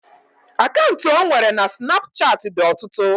Akantu ọ nwere na snapuchat dị ọtụtụ